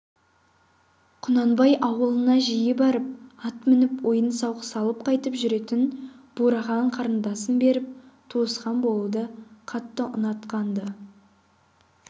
құнанбай аулына жиі барып ат мініп ойын-сауық салып қайтып жүретін бурахан қарындасын беріп туысқан болуды қатты ұнатқан-ды